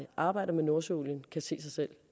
arbejder med nordsøolien også kan se sig selv